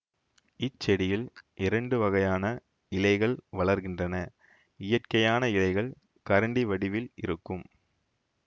இச்செடியில் இரண்டு வகையான இலைகள் வளர்கின்றன இயற்கையான இலைகள் கரண்டி வடிவில் இருக்கும்